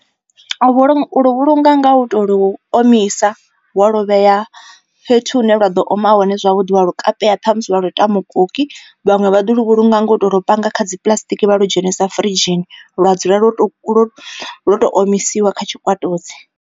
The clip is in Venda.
Vhulu u luvhulunga nga u to lu omisa wa lu vhea fhethu hune lwa ḓo oma hone zwavhuḓi wa lu kapeya ṱhamusi vha lu ita mukoki. Vhaṅwe vha ḓo lu vhulunga ngo tou ri u panga kha dzi puḽasitiki vha lu dzhenisa furidzhini lwa dzula lwo to lwo tou omisiwa kha tshikwatudzi.